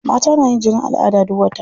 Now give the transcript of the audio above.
Mata na yin jinin al'ada duk wata.